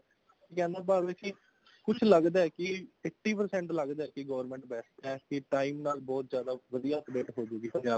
ਕਹਿਣ ਦਾ ਭਾਵ ਹੈ ਕੀ ਕੁੱਝ ਲੱਗਦਾ ਹੈ ਕੀ eighty percent ਲੱਗਦਾ ਵੀ government best ਹੈ ਕੀ time ਨਾਲ ਬਹੁਤ ਜਿਆਦਾ ਵਧੀਆ upgrade ਹੋਜੂਗੀ ਪੰਜਾਬ ਚ